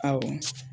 Awɔ